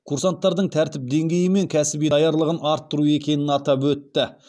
курсанттардың тәртіп деңгейі мен кәсіби даярлығын арттыру екенін атап өтті